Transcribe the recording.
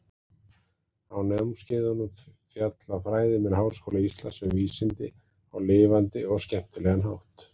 Á námskeiðunum fjalla fræðimenn Háskóla Íslands um vísindi á lifandi og skemmtilegan hátt.